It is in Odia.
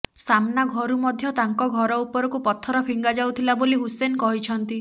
ସାମ୍ନା ଘରୁ ମଧ୍ୟ ତାଙ୍କ ଘର ଉପରକୁ ପଥର ଫିଙ୍ଗାଯାଉଥିଲା ବୋଲି ହୁସେନ କହିଛନ୍ତି